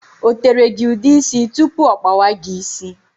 O tere gị ude ísì tụpụ ọ kpawa gị ịsị?